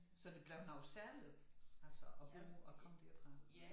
Så det blevet noget særligt altså at bo at komme derfra